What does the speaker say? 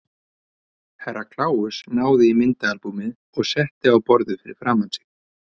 Herra Kláus náði í myndaalbúmið og setti á borðið fyrir framan sig.